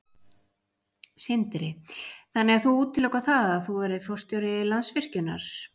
Sindri: Þannig að þú útilokar það að þú verðir forstjóri Landsvirkjunar?